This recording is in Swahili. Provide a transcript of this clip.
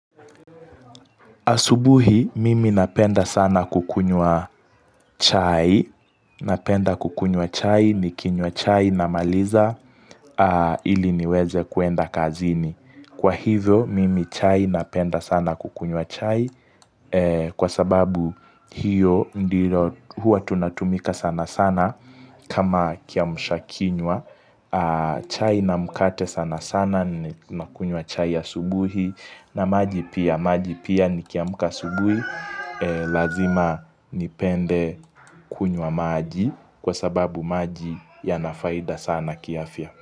Asubuhi mimi napenda sana kukunywa chai. Napenda kukunywa chai, nikinywa chai namaliza ili niweze kuenda kazini. Kwa hivyo mimi chai napenda sana kukunywa chai kwa sababu hiyo huwa tunatumia ka sana sana kama kiamusha kinyua. Chai na mkate sana sana Nakunywa chai ya asubuhi na maji pia maji pia nikiamka asubuhi Lazima nipende kunywa maji Kwa sababu maji yana faida sana kiafya.